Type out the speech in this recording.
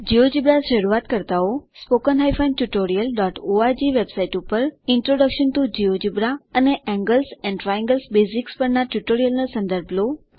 GeoGebra શરૂઆતકર્તાઓ spoken tutorialઓર્ગ web site પર ઇન્ટ્રોડક્શન ટીઓ જિયોજેબ્રા અને એન્ગલ્સ એન્ડ ટ્રાયંગલ્સ બેઝિક્સ પરના ટ્યુટોરીયલ નો સંદર્ભ લો